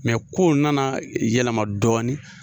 Mɛ kow nana yɛlɛma dɔɔni